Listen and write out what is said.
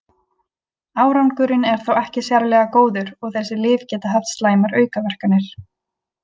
Árangurinn er þó ekki sérlega góður og þessi lyf geta haft slæmar aukaverkanir.